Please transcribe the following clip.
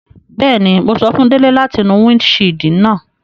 Bẹẹni, Mo sọ fun Dele lati nu windṣiidi naa